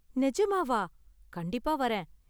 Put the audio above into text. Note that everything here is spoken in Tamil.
நெஜமாவா? கண்டிப்பா வரேன்.